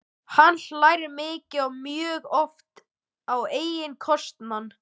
Hann hlær mikið og mjög oft á eigin kostnað.